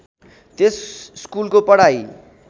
त्यस स्कुलको पढाइ